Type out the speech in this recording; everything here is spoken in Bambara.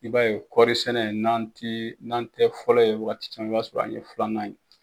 I b'a ye kɔrisɛnɛ n'an ti n'an tɛ fɔlɔ ye wagati caman i b'a sɔrɔ an ye filanan ye.